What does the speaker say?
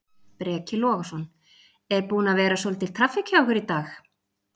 Breki Logason: Er búin að vera svolítil traffík hjá ykkur í dag?